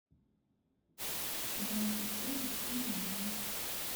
игра престолов серия два